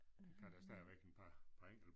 Kan da stadigvæk en par par enkelte